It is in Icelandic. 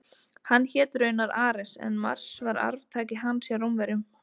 Hann hét raunar Ares en Mars var arftaki hans hjá Rómverjum.